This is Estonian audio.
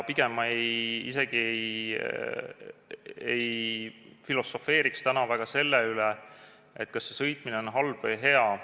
Pigem ma isegi ei filosofeeriks täna selle üle, kas see sõitmine on halb või hea.